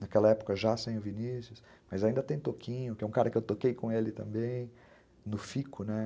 Naquela época já sem o Vinícius, mas ainda tem Toquinho, que é um cara que eu toquei com ele também, no Fico, né?